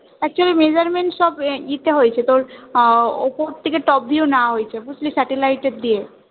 Actually measurement সবই তে হয়েছে তোর আহ ওপর থেকে top view নেওয়া হয়েছে বুঝলি satellite দিয়ে